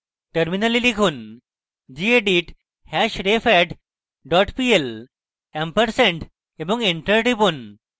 terminal লিখুন: gedit hashrefadd dot pl ampersand এবং enter টিপুন